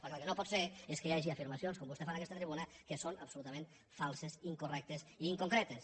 perquè el que no pot ser és que hi hagi afirmacions com vostè fa en aquesta tribuna que són absolutament falses incorrectes i inconcretes